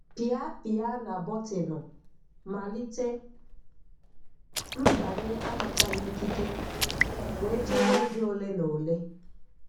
Pịa Pịa na bọtịnụ "Malite mbanye anataghị ikike" wee chere oge ole na ole